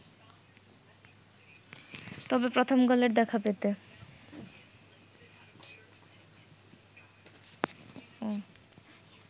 তবে প্রথম গোলের দেখা পেতে